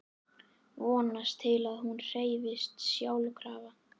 Vonast til að hún hreyfist sjálfkrafa.